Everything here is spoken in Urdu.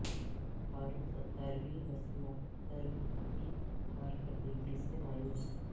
فاروق ستار بھی وسیم اختر کی کارکردگی سے مایوس